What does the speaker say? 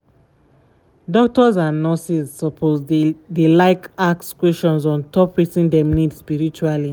doctors and nurses suppose dey like ask questions ontop wetin dem need spiritually.